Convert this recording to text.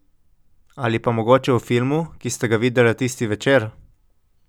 Ali pa mogoče o filmu, ki sta ga videla tisti večer.